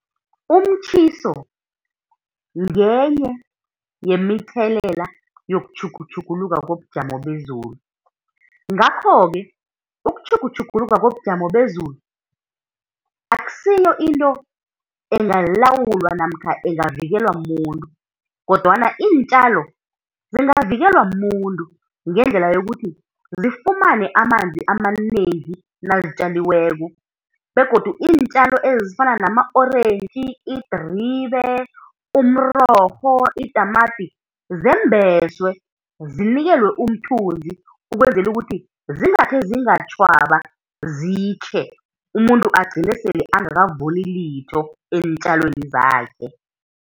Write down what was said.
Umtjhiso ngenye yemithelela yokutjhugutjhuluka kobujamo bezulu, ngakho-ke ukutjhugutjhuguluka kobujamo bezulu akusiyo into engalawulwa namkha engavikelwa mumuntu, kodwana iintjalo zingavikelwa mumuntu ngendlela yokuthi zifumane amanzi amanengi nazitjaliwweko, begodu iintjalo ezifana nama-orentji, idribe, umrorho, itamati, zembeswe, zinikelwe umthunzi ukwenzela ukuthi zingakhe zingatjhwaba zitjhe, umuntu agcine sele angakavuni litho eentjalweni zakhe.